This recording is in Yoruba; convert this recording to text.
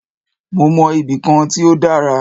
Mó mọ ibì kan tí o dára.